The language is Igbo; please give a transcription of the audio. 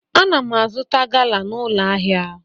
Ana m azụta Gala n'ụlọ ahịa.